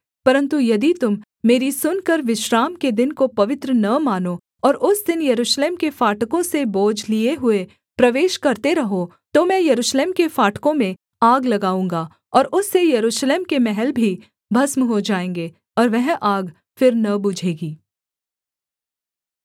परन्तु यदि तुम मेरी सुनकर विश्राम के दिन को पवित्र न मानो और उस दिन यरूशलेम के फाटकों से बोझ लिए हुए प्रवेश करते रहो तो मैं यरूशलेम के फाटकों में आग लगाऊँगा और उससे यरूशलेम के महल भी भस्म हो जाएँगे और वह आग फिर न बुझेगी